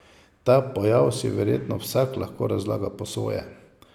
Ta pojav si verjetno vsak lahko razlaga po svoje.